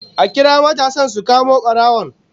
A kira matasan su kamo barawon